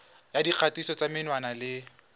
ya dikgatiso tsa menwana le